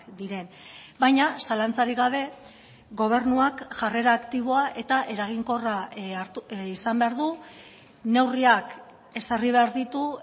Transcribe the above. diren baina zalantzarik gabe gobernuak jarrera aktiboa eta eraginkorra izan behar du neurriak ezarri behar ditu